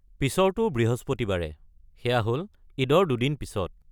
পিছৰটো বৃহস্পতিবাৰে, সেয়া হ'ল ঈদৰ দুদিন পিছত।